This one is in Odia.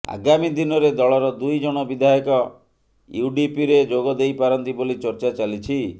ଆଗାମୀ ଦିନରେ ଦଳର ଦୁଇଜଣ ବିଧାୟକ ୟୁଡିପିରେ ଯୋଗଦେଇପାରନ୍ତି ବୋଲି ଚର୍ଚ୍ଚା ଚାଲିଛି